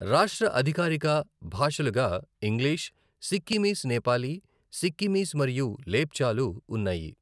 రాష్ట్ర అధికారిక భాషలుగా ఇంగ్లిష్, సిక్కిమీస్ నేపాలీ, సిక్కిమీస్ మరియు లెప్చాలు ఉన్నాయి.